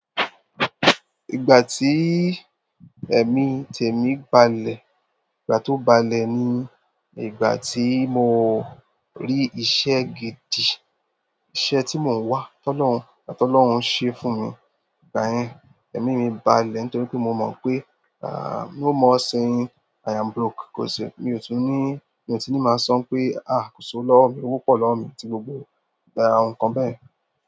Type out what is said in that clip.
Ìgbà tí ẹ̀mí tèmi balẹ̀, ìgbà tó balẹ̀ ni ìgbà tí mo rí iṣẹ́ gidi, iṣẹ́ tí mò ń wá. Tọ́lọ́hun, látọ́lọ́hun ṣe fún mi. Ìgbà yẹn, ẹ̀mí mi balẹ̀ nítorí pé mò mọ̀ pé, à, no more saying "I am broke" kò ṣe-- mi ò tún ní, mi ò tún ní máa sọ pé, "a kò sowo lọ́wọ́ mi, owó pọ̀ lọ́wọ́ mi" ti gbogbo àa nǹkan bẹ́ẹ̀.